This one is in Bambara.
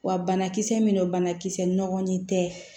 Wa banakisɛ min don banakisɛ nɔgɔlen tɛ